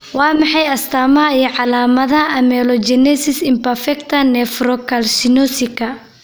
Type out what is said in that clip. Waa maxay astaamaha iyo calaamadaha Amelogenesis imperfecta nephrocalcinosika?